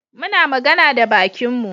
Muna magana da bakinmu.